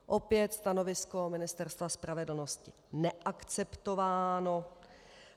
Opět stanovisko Ministerstva spravedlnosti neakceptováno.